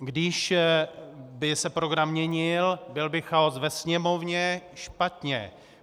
Když by se program měnil, byl by chaos ve Sněmovně - špatně.